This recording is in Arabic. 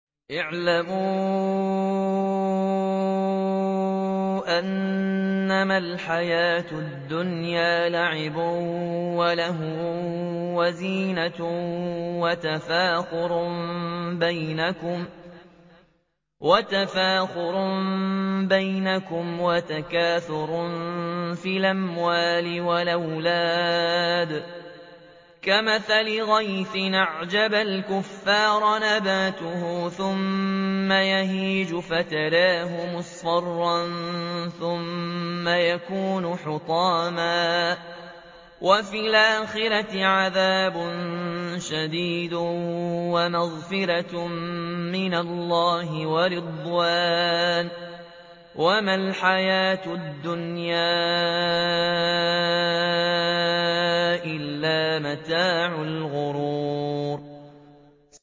اعْلَمُوا أَنَّمَا الْحَيَاةُ الدُّنْيَا لَعِبٌ وَلَهْوٌ وَزِينَةٌ وَتَفَاخُرٌ بَيْنَكُمْ وَتَكَاثُرٌ فِي الْأَمْوَالِ وَالْأَوْلَادِ ۖ كَمَثَلِ غَيْثٍ أَعْجَبَ الْكُفَّارَ نَبَاتُهُ ثُمَّ يَهِيجُ فَتَرَاهُ مُصْفَرًّا ثُمَّ يَكُونُ حُطَامًا ۖ وَفِي الْآخِرَةِ عَذَابٌ شَدِيدٌ وَمَغْفِرَةٌ مِّنَ اللَّهِ وَرِضْوَانٌ ۚ وَمَا الْحَيَاةُ الدُّنْيَا إِلَّا مَتَاعُ الْغُرُورِ